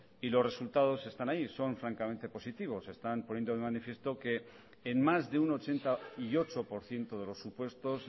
y los resultados están ahí son francamente positivos están poniendo de manifiesto que en más de un ochenta y ocho por ciento de los supuestos